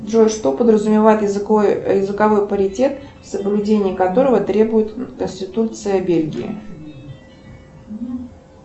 джой что подразумевает языковой паритет соблюдение которого требует конституция бельгии